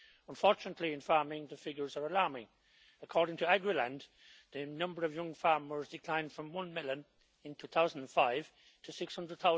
Unfortunately, in farming the figures are alarming. According to Agriland, the number of young farmers declined from one million in 2005 to 600